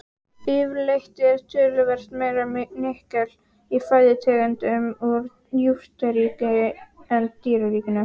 Yfirleitt er töluvert meira nikkel í fæðutegundum úr jurtaríkinu en dýraríkinu.